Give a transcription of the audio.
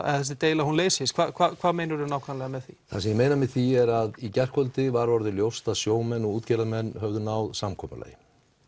að þessi deila leysist hvað meinaru með því það sem ég meina með því er að í gærkvöldi var orðið ljóst að sjómenn og útgerðarmenn höfðu náð samkomulagi